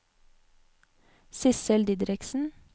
Sissel Didriksen